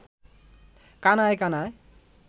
কানায় কানায়